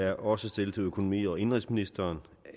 er også stillet til økonomi og indenrigsministeren